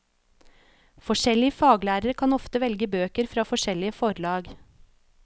Forskjellige faglærere kan ofte velge bøker fra forskjellige forlag.